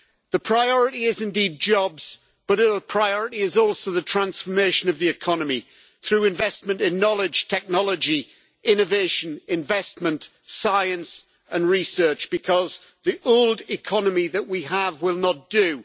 The priority is indeed jobs, but the priority is also the transformation of the economy through investment in knowledge, technology, innovation, investment, science and research, because the old economy that we have will not do.